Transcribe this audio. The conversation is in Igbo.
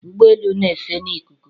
Ụgbọ elu n'efe na ikuku